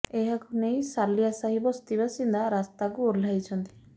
ଏହାକୁ ନେଇ ସାଲିଆ ସାହି ବସ୍ତି ବାସିନ୍ଦା ରାସ୍ତାକୁ ଓହ୍ଲାଇଛନ୍ତି